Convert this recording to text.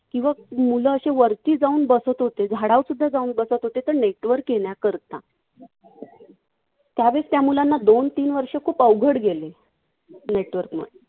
किंवा मुलं अशी वरती जाऊन बसत होते. झाडावर सुद्धा जाऊन बसत होते. का? network येण्याकरता. त्यावेळेस त्या मुलांना दोन तीन वर्ष खूप अवघड गेले. network नं.